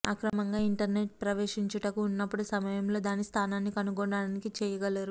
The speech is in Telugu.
అక్రమంగా ఇంటర్నెట్ ప్రవేశించుటకు ఉన్నప్పుడు సమయంలో దాని స్థానాన్ని కనుగొనడానికి చెయ్యగలరు